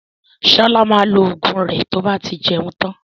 Ṣọlá maa lo Ògùn rẹ tí ó bá ti jẹun tán